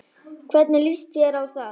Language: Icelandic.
Hvernig líst þér á það?